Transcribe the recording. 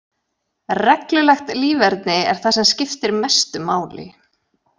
Reglulegt líferni er það sem skiptir mestu máli.